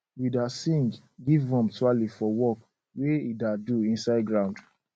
we da sing give worm twale for work wey e da do inside ground